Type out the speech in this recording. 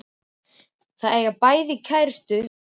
Að eiga bæði kærustu og bíl.